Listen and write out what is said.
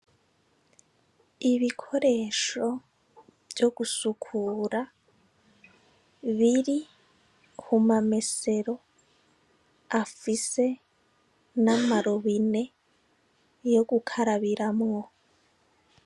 Ibikoresho vyo gusukura biri ku mamesero afise n'amabomba yo gukarabiramwo.